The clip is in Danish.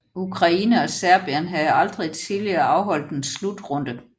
Ukraine og Serbien havde aldrig tidligere afholdt en slutrunde